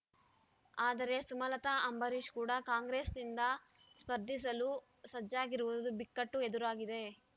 ಆದರೆ ಸುಮಲತಾ ಅಂಬರೀಷ್ ಕೂಡ ಕಾಂಗ್ರೆಸ್‌ನಿಂದ ಸ್ಪರ್ಧಿಸಲು ಸಜ್ಜಾಗಿರುವುದು ಬಿಕ್ಕಟ್ಟು ಎದುರಾಗಿದೆ